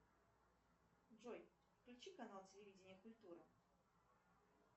джой включи канал телевидения культура